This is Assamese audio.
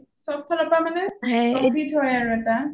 সব ফালৰ পৰা মানে profit হয় আৰু এটা